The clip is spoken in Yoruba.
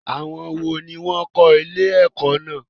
Àwọn wo ni wọn kò ilé ẹ̀kọ́ náà?